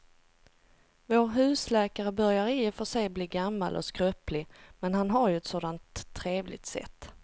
Vår husläkare börjar i och för sig bli gammal och skröplig, men han har ju ett sådant trevligt sätt!